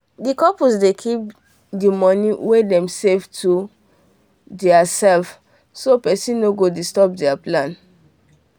the couple dey keep the money wen them save to there selves so person nor go disturb there plans